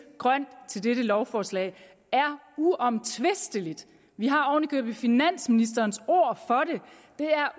grønt til dette lovforslag er uomtvistelig vi har oven i købet finansministerens